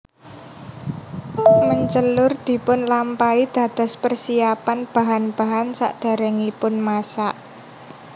Mencelur dipunlampahi dados persiapan bahan bahan sakderengipun masak